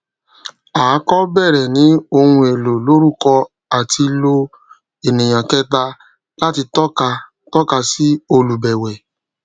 à kọ bẹrẹ ni ohun èlò lórúkọ àti lo ènìyàn kẹta láti tọka tọka sí olùbẹwẹ